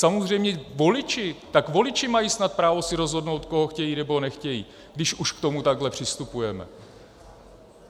Samozřejmě voliči - tak voliči mají snad právo si rozhodnout, koho chtějí, nebo nechtějí, když už k tomu takhle přistupujeme.